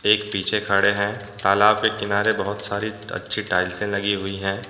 एक पीछे खड़े हैं तालाब के किनारे बहुत सारी अच्छी टाइल्से लगी हुई हैं ।